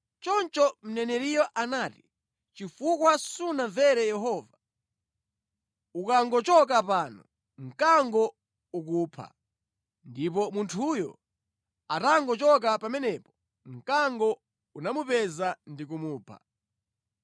Choncho mneneriyo anati, “Chifukwa sunamvere Yehova, ukangochoka pano, mkango ukupha.” Ndipo munthuyo atangochoka pamenepo, mkango unamupeza ndi kumupha.